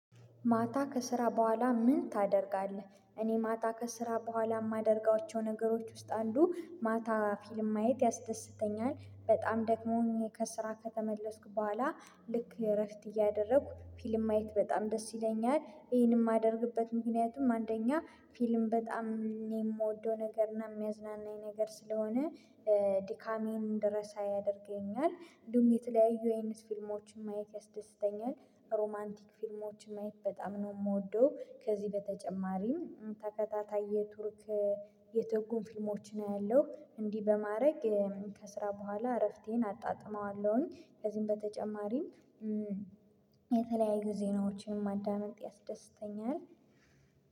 ማታ ከስራ በኋላ ምን ታደርጋለህ? እኔ ማታ ከስራ በኋላ የማደርጋቸው ነገሮች ውስጥ አንዱ ማታ ፊልም ማየት ያስደስተኛል በጣም ደክሞኝ ከስራ ከተመለስኩ በኋላ ልክ እረፍት እያደረኩ ፊልም ማየት በጣም ደስ ይለኛል ይሄንንም የማደርግበት ምክንያትም አንደኛ ፊልም በጣም የምወደው ነገር እና የሚያዝናናኝ ነገር ስለሆነ ድካሜን እንድረሳ ያደርገኛል እንዲሁም የተለያዩ አይነት ፊልሞችን ማየት ያስደስተኛል። ሮማንቲክ ፊልሞችን ማየት በጣም ነው የምወደው ከዚህ በተጨማሪም ተከታታይ የቱርክ የትርጉም ፊልሞችን አያለሁ እንዲህ በማድረግ ከስራ በኋላ እረፍቴን አጣጥመዋለሁኝ። ከዚህም በተጨማሪም የተለያዩ ዜናዎችን ማዳመጥ ያስደስተኛል።